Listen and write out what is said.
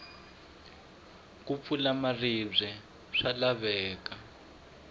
ku pfula maribye swa laveka